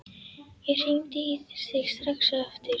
Ég hringi í þig strax aftur.